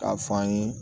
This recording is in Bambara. K'a fɔ an ye